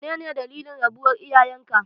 Menene dalilin rabuwar iyayenka?